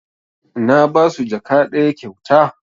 Na basu jaka ɗaya kyauta